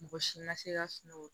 Mɔgɔ si ma se ka sunɔgɔ